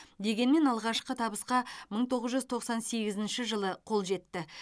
дегенмен алғашқы табысқа мың тоғыз жүз тоқсан сегізінші жылы қол жетті